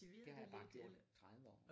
Det har jeg bare gjort i 30 år